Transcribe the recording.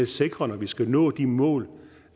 sikre når vi skal nå de mål